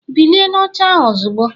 Bilie n'oche ahụ ozugbo!